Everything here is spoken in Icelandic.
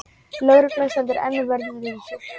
Lögreglan stendur enn vörð við húsið